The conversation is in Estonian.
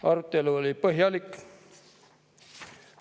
Arutelu oli põhjalik.